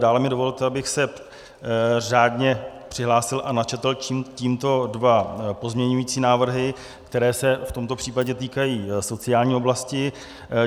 Dále mi dovolte, abych se řádně přihlásil a načetl tímto dva pozměňovací návrhy, které se v tomto případě týkají sociální oblasti.